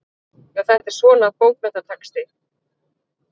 Já, þetta er svona. bókmenntatexti.